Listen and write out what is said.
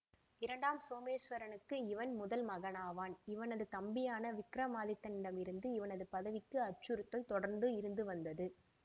இரண்டாம் சோமேசுவரனுக்கு இவன் முதல் மகனாவான் இவனது தம்பியான விக்ரமாதித்தனிடமிருந்து இவனது பதவிக்கு அச்சுறுத்தல் தொடர்ந்து இருந்துவந்தது